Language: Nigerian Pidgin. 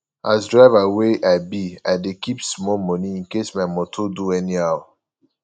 as driver wey i be i dey keep small moni incase my moto do anyhow